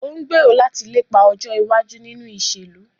O ńgbero lati lepa ọjọ iwaju ninu iṣelu.